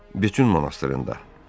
Betun monastrında.